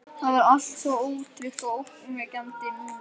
Það var allt svo ótryggt og ógnvekjandi núna.